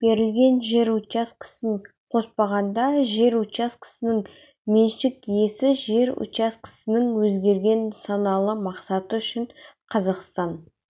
берілген жер учаскесін қоспағанда жер учаскесінің меншік иесі жер учаскесінің өзгерген нысаналы мақсаты үшін қазақстан